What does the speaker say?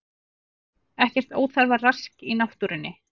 Ekkert óþarfa rask í náttúrunni